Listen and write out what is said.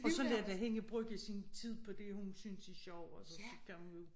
Og så lad da hende bruge sin tid på det hun synes er sjov altså så kan hun jo